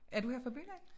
Er du her fra byen af?